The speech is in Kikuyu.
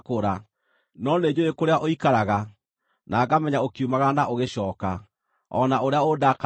“No nĩnjũũĩ kũrĩa ũikaraga, na ngamenya ũkiumagara na ũgĩcooka, o na ũrĩa ũndakaragĩra.